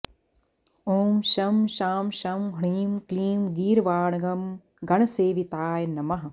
ॐ शं शां षं ह्रीं क्लीं गीर्वाणगणसेविताय नमः